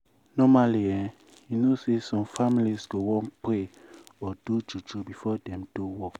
normally eh you know say some families go wan pray or do juju before dem do work.